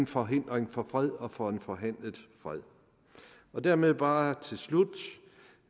forhindringer for fred og for en forhandlet fred dermed bare til slut